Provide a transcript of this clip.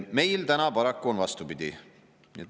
Meil täna paraku on vastupidi.